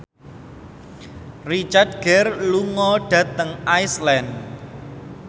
Richard Gere lunga dhateng Iceland